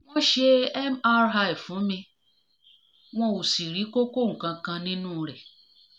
wọ́n ṣe mri fún mi wọn ò sì rí kókó kankan nínú rẹ̀